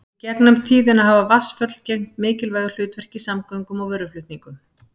í gegnum tíðina hafa vatnsföll gegnt mikilvægu hlutverki í samgöngum og vöruflutningum